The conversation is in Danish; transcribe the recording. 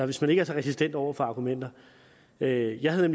hvis man ikke er resistent over for argumenter jeg jeg havde